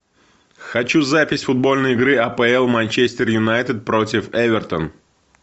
хочу запись футбольной игры апл манчестер юнайтед против эвертон